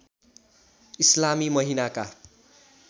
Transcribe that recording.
इस्लामी महिनाका